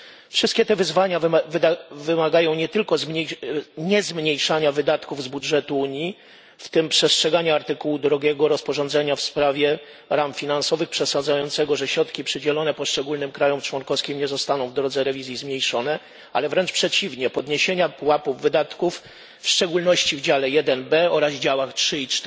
Wszystkie te wyzwania wymagają nie tylko niezmniejszania wydatków z budżetu Unii, w tym przestrzegania artykułu 2 rozporządzenia w sprawie ram finansowych, przesądzającego, że środki przydzielone poszczególnym państwom członkowskim nie zostaną w drodze rewizji zmniejszone, ale wręcz przeciwnie podniesienia pułapu wydatków, w szczególności w dziale 1B oraz działach 3 i